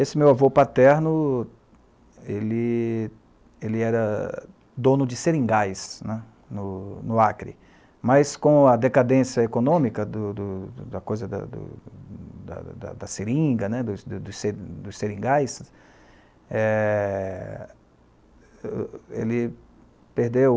Esse meu avô paterno, ele ele era dono de seringais né, no no Acre, mas com a decadência econômica do do do da da do da da coisa da seringa, dos dos seringais, eh ele perdeu